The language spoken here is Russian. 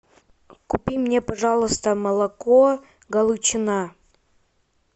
купи мне пожалуйста молоко галичина